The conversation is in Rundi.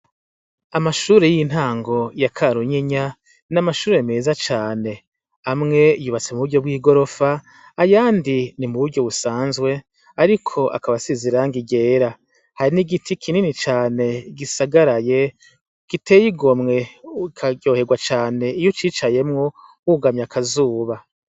Amashure y'intango ya karunyinya n'amashure meza cane. Amwe yubatse m'uburyo bw'igorofa ayandi ni m'uburyo busanzwe ariko akaba asize irangi ryera. Hari n'igiti kinini cane gisagaraye gitey'igomwe ukaryohegwa cane iyo ucicayemwo wugamye akazuba.